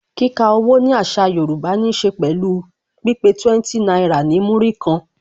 Kika owó ni àṣà Yorùbá ní se pẹ̀lú pípé 20 náírà ní Múrí kan